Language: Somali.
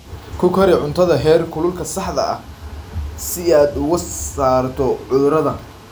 Ku kari cuntada heerkulka saxda ah si aad uga saarto cudurada.